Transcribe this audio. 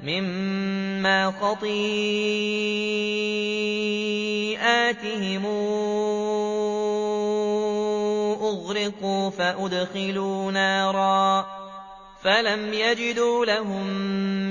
مِّمَّا خَطِيئَاتِهِمْ أُغْرِقُوا فَأُدْخِلُوا نَارًا فَلَمْ يَجِدُوا لَهُم